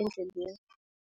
endleleni.